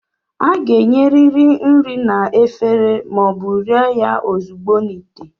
A ga-enyerịrị nri na efere ma ọ bụ rie ya ozugbo n'ite.